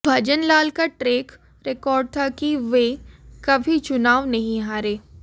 भजनलाल का track record था कि वे कभी चुनाव नहीं हारे